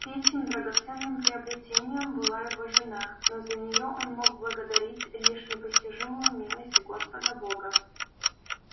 третьим драгоценным приобретением была его жена но за неё он мог благодарить лишь непостижимую милость господа бога